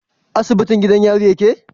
Asibitin gidan yari yake?